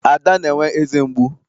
Ada na-enwe eze mgbu.